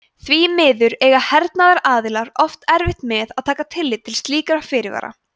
því miður eiga hernaðaraðilar oft erfitt með að taka tillit til slíkra fyrirvara